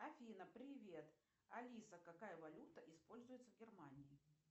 афина привет алиса какая валюта используется в германии